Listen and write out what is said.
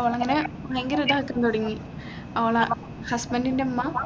ഓളിങ്ങനെ ഭയങ്കര ഇതാകാൻ തുടങ്ങി ഓളെ husband ഇന്റെ ഉമ്മ